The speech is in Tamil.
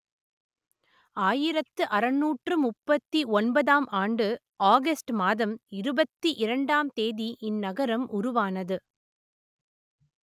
ஆயிரத்து அறுநூற்று முப்பத்தி ஒன்பதாம் ஆண்டு ஆகஸ்ட் மாதம் இருபத்தி இரண்டாம் தேதி இந்நகரம் உருவானது